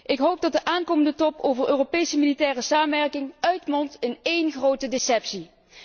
Ik hoop dat de komende top over Europese militaire samenwerking uitmondt in één grote deceptie.